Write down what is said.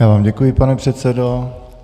Já vám děkuji, pane předsedo.